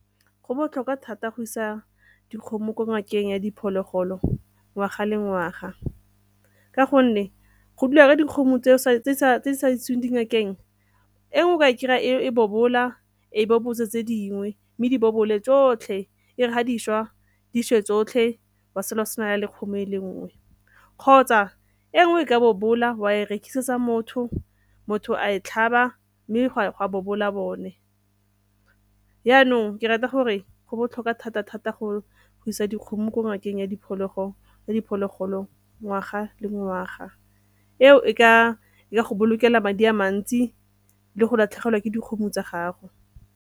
Go botlhokwa thata go isa dikgomo ko ngakeng ya diphologolo ngwaga le ngwaga ka gonne go dula dikgomo tse di sa iseweng dingakeng e nngwe o ka e kry-a e bobola ga e bo botse tse dingwe mme di bobole tsotlhe e re ga di swa di swe tsotlhe wa sala go se na le kgomo e le nngwe. Kgotsa e nngwe ka bobola wa e rekisetsa motho, motho a e tlhaba mme ga bobole bone. Yaanong ke rata gore go botlhokwa thata-thata go go isa dikgomo ko ngakeng ya diphologolo ya diphologolo ngwaga le ngwaga eo e ka ipolokela madi a mantsi le go latlhegelwa ke dikgomo tsa gago.